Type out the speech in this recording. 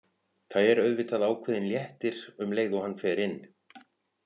Það er auðvitað ákveðinn léttir um leið og hann fer inn.